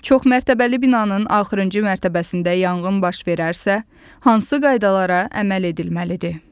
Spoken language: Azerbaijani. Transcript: Çoxmərtəbəli binanın axırıncı mərtəbəsində yanğın baş verərsə, hansı qaydalara əməl edilməlidir?